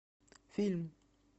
фильм